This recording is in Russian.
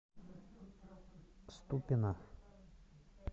ступино